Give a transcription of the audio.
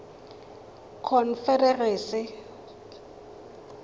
confederacy